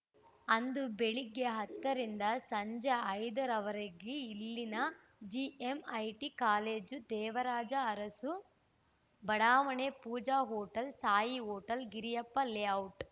ಅಂದು ಬೆಳಿಗ್ಗೆ ಹತ್ತರಿಂದ ಸಂಜೆ ಐದರವರೆಗೆ ಇಲ್ಲಿನ ಜಿಎಂಐಟಿ ಕಾಲೇಜು ದೇವರಾಜ ಅರಸು ಬಡಾವಣೆ Pooja hotel Sai hotel Giriyappa layout